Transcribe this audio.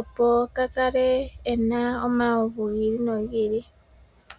opo kaa kale e na omawuvu gi ili nogi ili.